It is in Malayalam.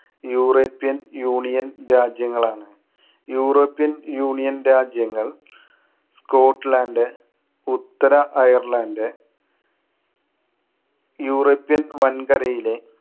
യൂറോപ്പ്യൻ യൂണിയൻ രാജ്യങ്ങളാണ്. യൂറോപ്യൻ യൂണിയൻ രാജ്യങ്ങൾ സ്കോട്ട്ലാൻഡ്, ഉത്തര അയർലൻഡ് യൂറോപ്യൻ വൻകരയിലെ